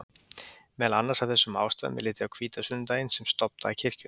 Meðal annars af þessum ástæðum er litið á hvítasunnudaginn sem stofndag kirkjunnar.